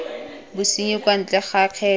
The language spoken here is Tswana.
bosenyi kwa ntle ga kgetho